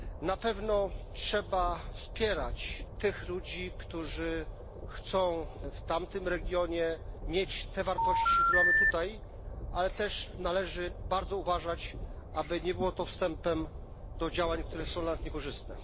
Na pewno trzeba wspierać tych ludzi, którzy chcą w tamtym regionie mieć te wartości, które mamy tutaj, ale też należy bardzo uważać, aby nie było to wstępem do działań, które są dla nas niekorzystne.